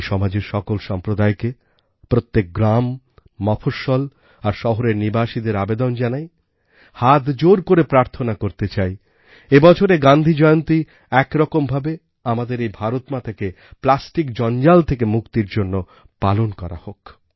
আমি সমাজের সকল সম্প্রদায়কে প্রত্যেকগ্রাম মফঃস্বল আর শহরের নিবাসীদের আবেদন জানাই হাতজোড় করে প্রার্থনা করতে চাই এই বছরের গান্ধী জয়ন্তী এক রকম ভাবে আমাদের এই ভারতমাতাকে প্লাস্টিক জঞ্জাল থেকে মুক্তির জন্য পালন করা হোক